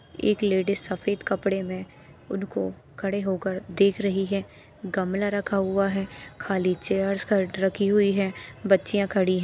एक लेडिस सफेद कपड़े में उनको खड़े होकर देख रही है गमला रखा हुआ है खाली चेयर्स ख रखी हुई है बच्चियां खड़ी है।